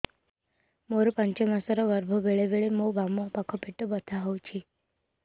ମୋର ପାଞ୍ଚ ମାସ ର ଗର୍ଭ ବେଳେ ବେଳେ ମୋ ବାମ ପାଖ ପେଟ ବଥା ହଉଛି